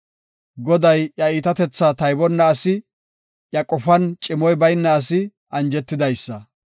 Goday iya iitatethaa taybonna asi, iya qofan cimoy bayna asi anjetidaysa.